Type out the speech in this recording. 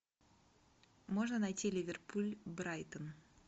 можно найти ливерпуль брайтон